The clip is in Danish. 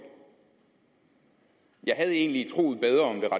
jeg havde egentlig et